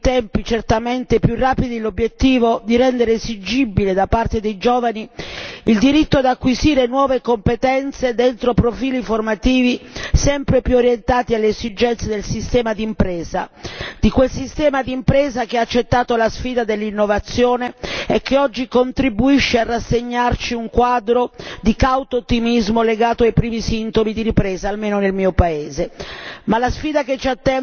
Coglieremo, quindi, in tempi certamente più rapidi l'obiettivo di rendere esigibile da parte dei giovani il diritto ad acquisire nuove competenze dentro profili formativi sempre più orientati alle esigenze del sistema d'impresa, di quel sistema d'impresa che ha accettato la sfida dell'innovazione e che oggi contribuisce a rassegnarci un quadro di cauto ottimismo legato ai primi sintomi di ripresa, almeno nel mio paese.